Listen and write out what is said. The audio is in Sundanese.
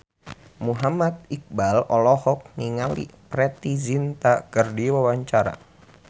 Muhammad Iqbal olohok ningali Preity Zinta keur diwawancara